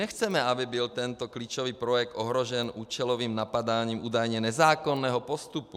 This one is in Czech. Nechceme, aby byl tento klíčový projekt ohrožen účelovým napadáním údajně nezákonného postupu.